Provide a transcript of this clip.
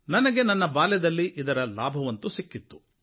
ನನಗೆ ನನ್ನ ಬಾಲ್ಯದಲ್ಲಿ ಇದರ ಲಾಭವಂತೂ ಸಿಕ್ಕಿತ್ತು